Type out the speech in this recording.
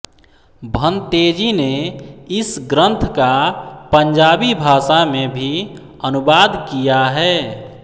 भन्तेजी ने इस ग्रंथ का पंजाबी भाषा में भी अनुवाद किया है